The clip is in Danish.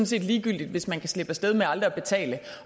set ligegyldigt hvis man kan slippe af sted med aldrig at betale